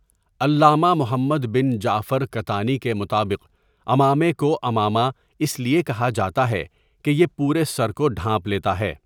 علامہ محمد بن جعفر کَتانی کے مطابق، عمامے کو عمامہ اس لیے کہا جاتا ہے کہ یہ پورے سر کو ڈھانپ لیتا ہے.